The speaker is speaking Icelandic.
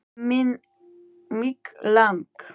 Mig lang